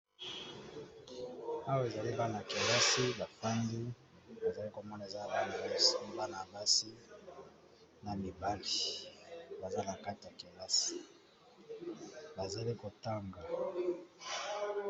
Awa namoni eza bana kelasi bafandi nakati ya kelasi bazo tanga